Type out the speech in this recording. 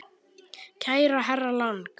Kæri herra Lang.